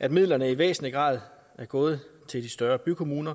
at midlerne i væsentlig grad er gået til de større bykommuner